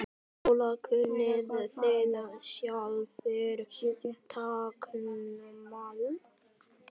Lóa: Kunnið þið sjálfir táknmál?